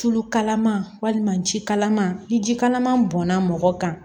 Tulu kalaman walima jikalaman ni jikalaman bɔnna mɔgɔ kan